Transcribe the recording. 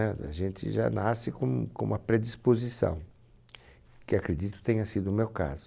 A gente já nasce com, com uma predisposição, que acredito tenha sido o meu caso.